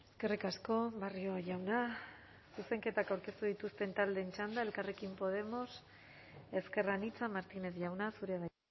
eskerrik asko barrio jauna zuzenketak aurkeztu dituzten taldeen txanda elkarrekin podemos ezker anitza martínez jauna zurea da